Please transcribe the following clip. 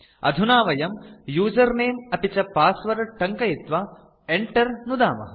अधुना वयं उसेर्नमे अपि च पासवर्ड टङ्कयित्वा Enter नुदामः